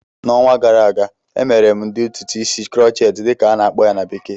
N'ọnwa gara aga, emere m ụdị ntụtụ isi "crochet" dịka a na-akpọ ya na bekee